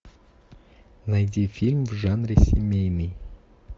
найди фильм в жанре семейный